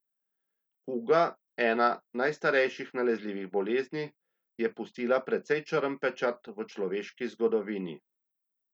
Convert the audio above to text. Kuga, ena izmed najstarejših nalezljivih bolezni, je pustila precej črn pečat v človeški zgodovini.